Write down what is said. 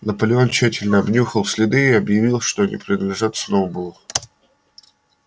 наполеон тщательно обнюхал следы и объявил что они принадлежат сноуболлу